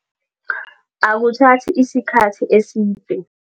Akuthathi isikhathi eside.